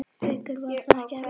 Haukur: Var það ekkert erfitt?